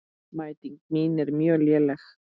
Mæting mín er mjög léleg.